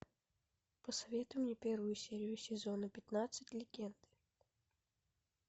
посоветуй мне первую серию сезона пятнадцать легенды